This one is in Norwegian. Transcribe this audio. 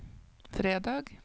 fredag